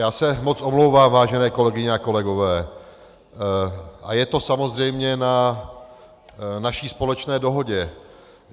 Já se moc omlouvám, vážené kolegyně a kolegové, a je to samozřejmě na naší společné dohodě.